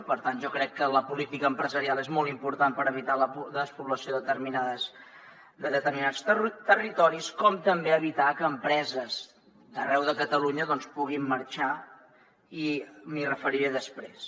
per tant jo crec que la política empresarial és molt important per evitar la despoblació de determinats territoris com també evitar que empreses d’arreu de catalunya doncs puguin marxar i m’hi referiré després